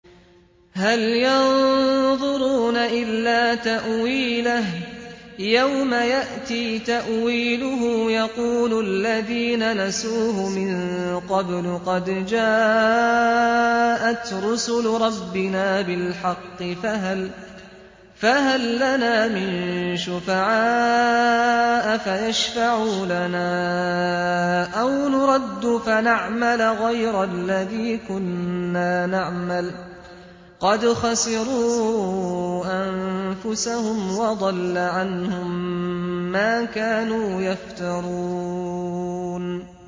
هَلْ يَنظُرُونَ إِلَّا تَأْوِيلَهُ ۚ يَوْمَ يَأْتِي تَأْوِيلُهُ يَقُولُ الَّذِينَ نَسُوهُ مِن قَبْلُ قَدْ جَاءَتْ رُسُلُ رَبِّنَا بِالْحَقِّ فَهَل لَّنَا مِن شُفَعَاءَ فَيَشْفَعُوا لَنَا أَوْ نُرَدُّ فَنَعْمَلَ غَيْرَ الَّذِي كُنَّا نَعْمَلُ ۚ قَدْ خَسِرُوا أَنفُسَهُمْ وَضَلَّ عَنْهُم مَّا كَانُوا يَفْتَرُونَ